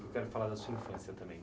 Eu quero falar da sua infância também.